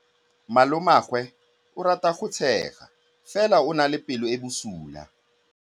Malomagwe o rata go tshega fela o na le pelo e e bosula.